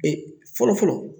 Ee fɔlɔ fɔlɔ